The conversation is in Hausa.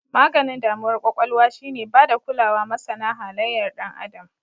Maganin damuwar kwakwalwa shi ne bada kulawa masana halayar Dan Adam.